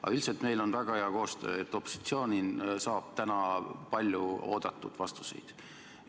Aga üldiselt meil on väga hea koostöö, opositsioon saab täna palju oodatud vastuseid.